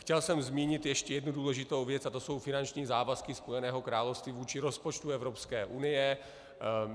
Chtěl jsem zmínit ještě jednu důležitou věc a to jsou finanční závazky Spojeného království vůči rozpočtu Evropské unie.